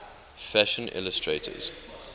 fashion illustrators